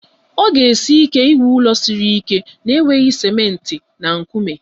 Ọ ga esi ike ịrụ ụlọ siri ike na-enweghị ciment na nkume